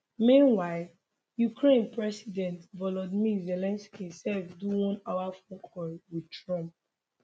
meanwhile ukraine president volodymyr zelensky sef do onehour phone call wit trump